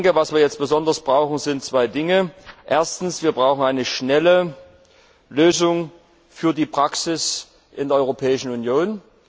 Was wir jetzt besonders brauchen, sind zwei Dinge Erstens brauchen wir eine schnelle Lösung für die Praxis in der Europäischen Union.